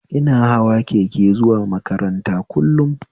Ina hawa keke zuwa makaranta kullum